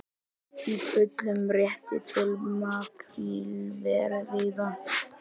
Í fullum rétti til makrílveiða